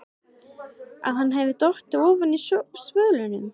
Að hann hefði dottið ofan af svölunum!